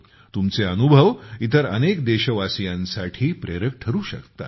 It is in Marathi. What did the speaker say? तुमचे अनुभव इतर अनेक देशवासीयांसाठी प्रेरक ठरू शकतात